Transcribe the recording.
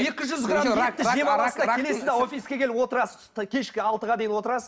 екі жүз грамм келесіз де офиске келіп отырасыз кешкі алтыға дейін отырасыз